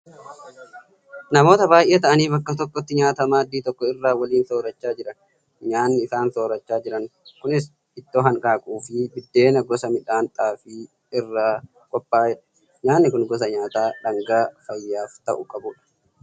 Namoota baay'ee ta'anii bakka tokkotti nyaata maaddii tokko irraa waliin soorachaa jiran. Nyaanni isaan soorachaa jiran kunis ittoo hanqaaquu fi biddeena gosa midhaan xaafii irraa qophaa'edha. Nyaanni kun gosa nyaataa dhangaa fayyaaf ta'u qabudha.